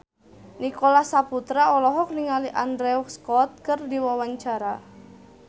Nicholas Saputra olohok ningali Andrew Scott keur diwawancara